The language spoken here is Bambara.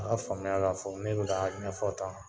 A ka faamuya k'a fɔ ne bɛ k'a ɲɛfɔ tan